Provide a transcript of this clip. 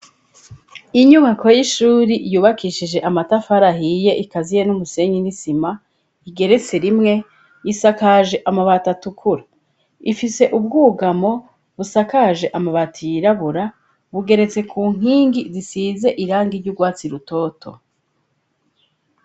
Inyubako y'ishuri yubakishije amatafari ahiye ikaziye n'umusenyi n'isima igeretse rimwe y'isakaje amabati atukuru ifise ubwugamo busakaje amabati yirabura bugeretse ku nkingi zisize irangi ryurwatsi rutoto.